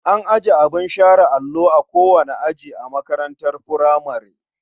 An ajiye abin share allo a kowane aji a makarantar furamare.